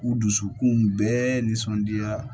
U dusukun bɛɛ nisɔndiyara